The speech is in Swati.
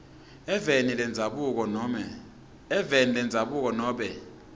eveni lendzabuko nobe